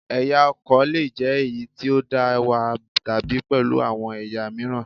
Ẹ̀yà ọkọ̀ lè jẹ́ èyí tí ó dá wà, tàbí pẹ̀lú àwọn ẹ̀yà mìíràn